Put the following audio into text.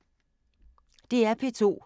DR P2